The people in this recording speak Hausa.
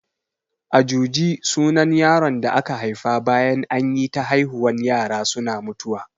Ajuji sunan yaron da aka haifa bayan anyi ta haihuwan yara suna mutuwa